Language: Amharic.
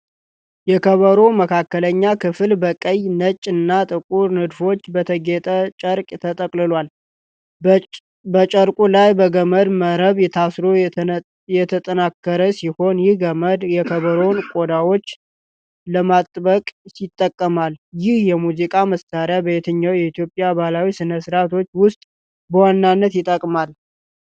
የከበሮው መካከለኛ ክፍል በቀይ፣ ነጭ እና ጥቁር ንድፎች በተጌጠ ጨርቅ ተጠቅልሏል። በጨርቁ ላይ በገመድ መረብ ታስሮ የተጠናከረ ሲሆን፤ ይህም ገመድ የከበሮውን ቆዳዎች ለማጥበቅ ይጠቅማል። ይህ የሙዚቃ መሣሪያ በየትኛው የኢትዮጵያ ባህላዊ ሥነ-ሥርዓቶች ውስጥ በዋናነት ይጠቀማል?